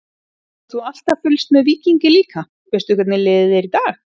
Hefur þú alltaf fylgst með Víkingi líka, veistu hvernig liðið er í dag?